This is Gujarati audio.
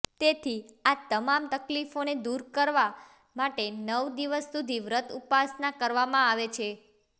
તેથી આ તમામ તકલીફોને દૂર કરવા માટે નવ દિવસ સુધી વ્રત ઉપાસના કરવામાં આવે છે